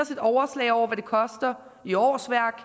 et overslag over hvad det koster i årsværk